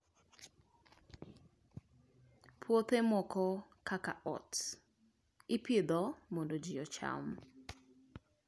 Puothe moko kaka oats, ipidho mondo ji ocham.